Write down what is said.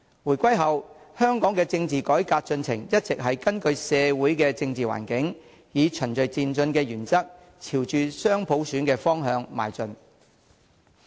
回歸後，香港的政治改革進程一直是根據社會政治環境，以循序漸進的原則，朝着雙普選的方向邁進。